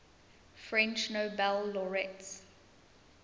french nobel laureates